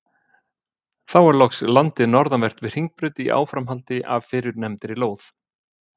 Þá er loks landið norðanvert við Hringbraut í áframhaldi af fyrrnefndri lóð.